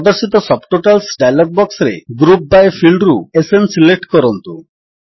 ପ୍ରଦର୍ଶିତ subtitles dialog ବକ୍ସରେ group by ଫିଲ୍ଡରୁ ଏସଏନ୍ ସିଲେକ୍ଟ କରନ୍ତୁ